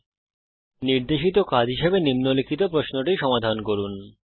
এই টিউটোরিয়ালের নির্দেশিত কাজ হিসাবে নিম্নলিখিত প্রশ্নটি সমাধান করুন